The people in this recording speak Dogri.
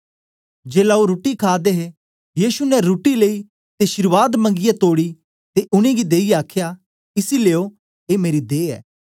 जेलै ओ रुट्टी खा दे गै हे यीशु ने रुट्टी लेई ते शीर्वाद मंगीयै तोड़ी ते उनेंगी देईयै आखया इसी लेयो ए मेरी देह ऐ